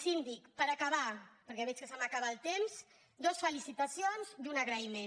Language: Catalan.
síndic per acabar perquè veig que se m’acaba el temps dues felicitacions i un agraïment